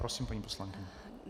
Prosím, paní poslankyně.